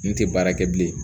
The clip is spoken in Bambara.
N tɛ baara kɛ bilen